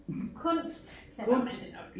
Kunst kalder man det nok